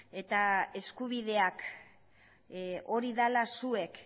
eta eskubideak hori dela zuek